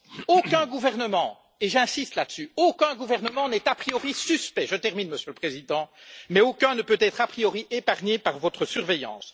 Aucun gouvernement et j'insiste là dessus aucun gouvernement n'est a priori suspect je termine Monsieur le Président mais aucun ne peut être a priori épargné par votre surveillance.